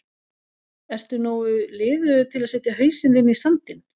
Ertu nógu liðugur til að setja hausinn þinn í sandinn?